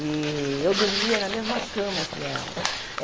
E eu dormia na mesma cama que ela.